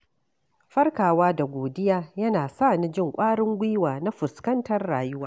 Farkawa da godiya yana sa ni jin ƙwarin gwiwa na fuskantar rayuwa.